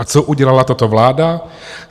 A co udělala tato vláda?